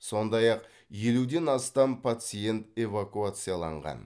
сондай ақ елуден астам пациент эвакуацияланған